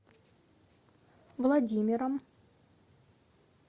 владимиром